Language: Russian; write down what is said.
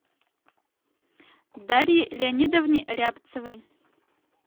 дарье леонидовне рябцевой